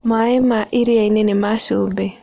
Maaĩ ma iria-inĩ nĩ ma cumbĩ.